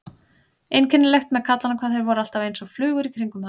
Einkennilegt með kallana hvað þeir voru alltaf einsog flugur í kringum hana.